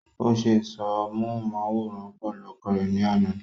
ó se ìsọ̀rọ̀ móhùnmáwòrán pẹ̀lú ọkọ rẹ̀ ní àná